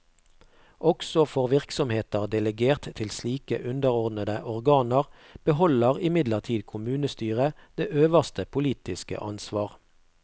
Også for virksomheter delegert til slike underordnede organer beholder imidlertid kommunestyret det øverste politiske ansvar.